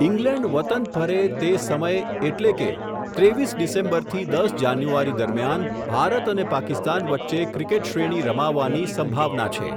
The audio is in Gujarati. ઈંગ્લેન્ડ વતન પરત ફરે, તે સમય એટલે કે, ત્રેવીસ ડિસેમ્બરથી દસ જાન્યુવારી દરમિયાન, ભારત અને પાકિસ્તાન વચ્ચે, ક્રિકેટ શ્રેણી રમાવવાની સંભાવના છે.